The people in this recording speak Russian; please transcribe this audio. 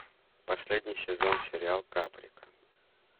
последний сезон сериал каприка